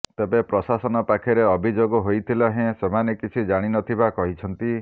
ତେବେ ପ୍ରଶାସନ ପାଖରେ ଅଭିଯୋଗ ହୋଇଥିଲେ ହେଁ ସେମାନେ କିଛି ଜାଣି ନଥିବା କହିଛନ୍ତି